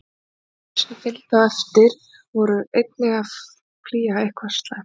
Og þeir sem fylgdu á eftir voru einnig að flýja eitthvað slæmt.